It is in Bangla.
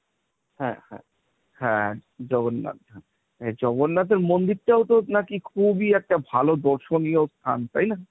হ্যাঁ, হ্যাঁ, হ্যাঁ জগন্নাথ, জগন্নাথের মন্দিরটাও তো নাকি খুবই একটা ভালো দর্শনীয় স্থান তাই না?